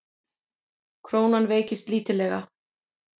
Krónan veiktist lítillega